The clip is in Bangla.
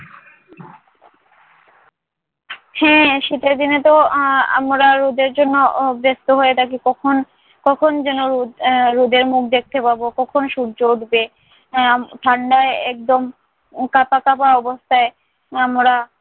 হ্যাঁ সেটা জেনেতো আহ আমরা রোদের জন্য উহ ব্যস্ত হয়ে থাকি কখন কখন যেন রোদ আহ রোদের মুখ দেখতে পাব, কখন সূর্য উঠবে আহ আম ঠাণ্ডায় একদম কাঁপা কাঁপা অবস্থায় আমরা